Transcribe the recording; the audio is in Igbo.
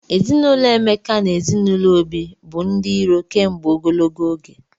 Ezinụlọ Emeka na ezinụlọ Obi bụ ndị iro kemgbe ogologo oge.